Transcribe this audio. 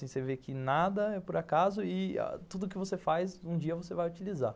Você vê que nada é por acaso e tudo o que você faz, um dia você vai utilizar.